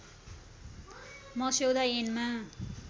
मस्यौदा ऐनमा